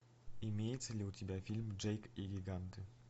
имеется ли у тебя фильм джейк и гиганты